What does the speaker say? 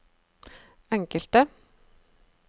enkelte